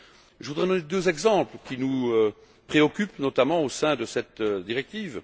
Je voudrais donner deux exemples qui nous préoccupent, notamment, au sein de cette directive.